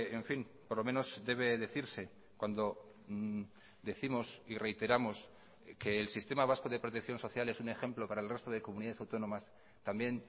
en fin por lo menos debe decirse cuando décimos y reiteramos que el sistema vasco de protección social es un ejemplo para el resto de comunidades autónomas también